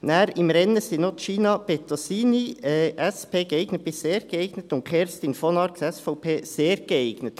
Weiter im Rennen sind Gina Bettosini, SP, geeignet bis sehr geeignet, und Kerstin von Arx, SVP, sehr geeignet.